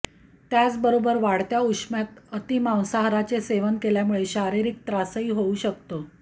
त्याचबरोबर वाढत्या उष्म्यात अतिमांसाहाराचे सेवन केल्यामुळे शारीरिक त्रासही होऊ शकतो